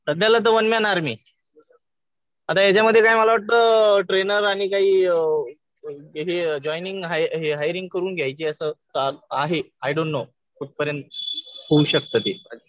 सध्याला तर one man army. आता याच्यामध्ये काय मला वाटतं ट्रेनर आणि काही इथे जॉइनिंग, हायरिंग करून घ्यायची असं आहे. I don't know. कुठपर्यंत होऊ शकतं ते.